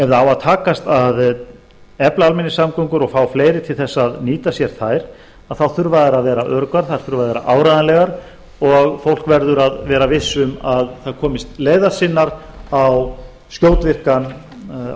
að takast að efla almenningssamgöngur og fá fleiri til að nýta sér þær þá þurfa þær að vera öruggar þær þurfa að vera áreiðanlegar og fólk verður að vera visst um að það komist leiðar sinnar á